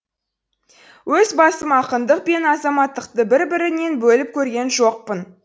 өз басым ақындық пен азаматтықты бір бірінен бөліп көрген жоқпын